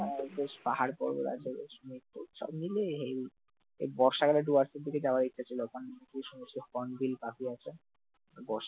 যাও বেশ পাহাড়-পর্বত আছে বেশ সব মিলিয়ে heavy এই বর্ষাকালে সুর্যাস্তের দিকে যাওয়ার ইচ্ছা ছিল, ওখানে যে সমস্ত হর্ন বিল পাখি আছে বর্ষা